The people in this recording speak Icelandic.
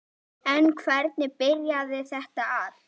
En hvernig byrjaði þetta allt?